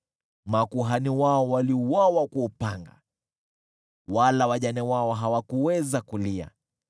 makuhani wao waliuawa kwa upanga, wala wajane wao hawakuweza kulia.